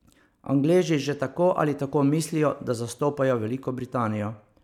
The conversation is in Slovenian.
Angleži že tako ali tako mislijo, da zastopajo Veliko Britanijo.